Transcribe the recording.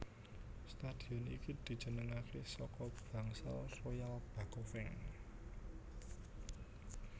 Stadion iki dijenengaké saka bangsa Royal Bakofeng